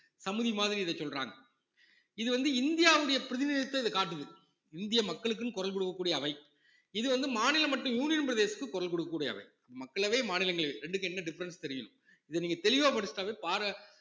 சமுதி மாதிரி இத சொல்றாங்க இது வந்து இந்தியாவுடைய பிரதிநிதிதான் இது காட்டுது இந்திய மக்களுக்குன்னு குரல் கொடுக்கக் கூடிய அவை இது வந்து மாநிலம் மற்றும் union பிரதேசத்துக்கு குரல் கொடுக்கக் கூடிய அவை மக்களவை, மாநிலங்களவை இரண்டுக்கும் என்ன difference தெரியணும் இத நீங்க தெளிவா படிச்சுட்டாவே பாத~